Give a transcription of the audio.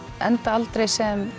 enda aldrei sem